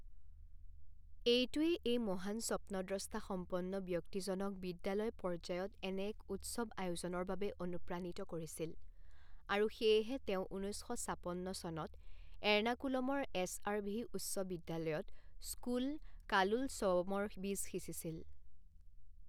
এইটোৱেই এই মহান স্বপ্নদ্ৰষ্টা সম্পন্ন ব্যক্তিজনক বিদ্যালয় পৰ্যায়ত এনে এক উৎসৱ আয়োজনৰ বাবে অনুপ্ৰাণিত কৰিছিল আৰু সেয়েহে তেওঁ ঊনৈছ শ ছাপন্ন চনত এৰ্নাকুলমৰ এছ.আৰ.ভি উচ্চ বিদ্যালয়ত স্কুল কালোলছৱমৰ বীজ সিঁচিছিল।